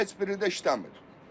Heç biri də işləmir.